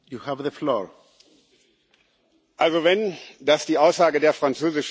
Also wenn das die Aussage der französischen Regierung war, dann ist das bedauerlich.